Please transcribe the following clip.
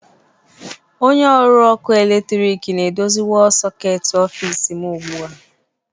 Onye ọrụ ọkụ eletrik na-edozi wọlụ sọketi ọfịs m ugbu a